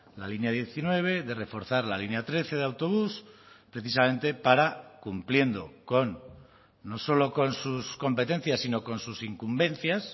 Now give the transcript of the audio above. la línea diecinueve de reforzar la línea trece de autobús precisamente para cumpliendo con no solo con sus competencias sino con sus incumbencias